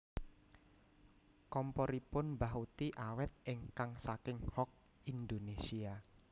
Komporipun mbah uti awet ingkang saking Hock Indonesia